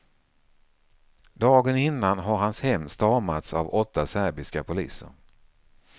Dagen innan har hans hem stormats av åtta serbiska poliser.